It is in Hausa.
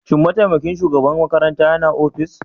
Shin mataimakin shugaban makarantar yana ofis?